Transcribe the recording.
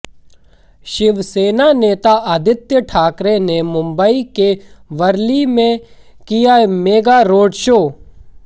शिवसेना नेता आदित्य ठाकरे ने मुंबई के वर्ली में किया मेगा रोड शो